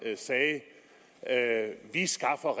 sagde vi skaffer